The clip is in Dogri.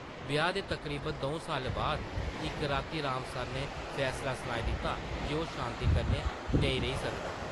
ब्याह् दे तकरीबन दौं साल्लें बाद इक रातीं राम सरनै फैसला सनाई दित्ता जे ओह् शांति कन्नै नेईं रेही सकदा ।